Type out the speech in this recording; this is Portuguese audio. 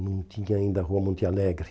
Não tinha ainda a Rua Monte Alegre.